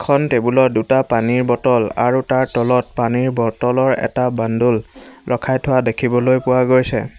এখন টেবুল ত দুটা পানীৰ বটল আৰু তাত পানীৰ বটল ৰ এটা বান্দোল ৰখাই থোৱা দেখিবলৈ পোৱা গৈছে।